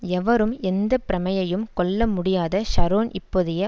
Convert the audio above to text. எவரும் எந்த பிரமையையும் கொள்ள முடியாத ஷரோன் இப்போதைய